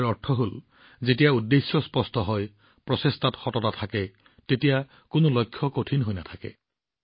ইয়াৰ অৰ্থ হল যেতিয়া উদ্দেশ্য স্পষ্ট হয় প্ৰচেষ্টাত সততা থাকে তেতিয়া কোনো লক্ষ্য কঠিন হৈ নাথাকে